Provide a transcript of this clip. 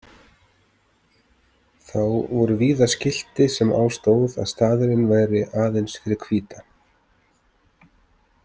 Þá voru víða skilti sem á stóð að staðurinn væri aðeins fyrir hvíta.